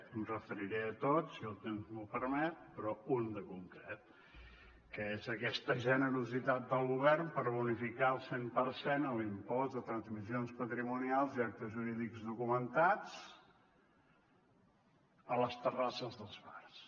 em referiré a tots si el temps m’ho permet però un de concret que és aquesta generositat del govern per bonificar al cent per cent l’impost de transmissions patrimonials i actes jurídics documentats a les terrasses dels bars